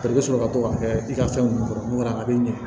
I bɛ sɔrɔ ka to k'a kɛ i ka fɛn ninnu kɔrɔ n'o kɛra a b'i ɲɛ